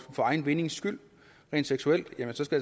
for egen vindings skyld rent seksuelt